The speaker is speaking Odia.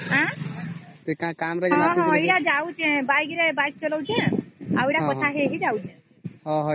ହଁ ଏବେ ଯାଉଛି ଗାଡି ରେ କଥା ହେଇ ହେଇ